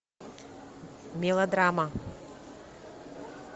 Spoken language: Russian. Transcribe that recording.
мелодрама